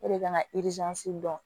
O de kan ka dɔn